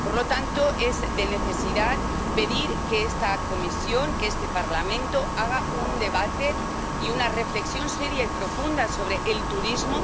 Por lo tanto, es de necesidad pedir que esta Comisión, que este Parlamento hagan un debate y una reflexión seria y profunda sobre el turismo